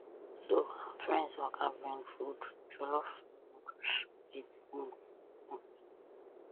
so her friends waka bring food jollof noodles wit meat meat